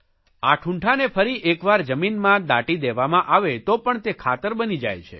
આ ઠૂંઠાને ફરીએક વાર જમીનમાં દાટી દેવામાં આવે તો પણ તે ખાતર બની જાય છે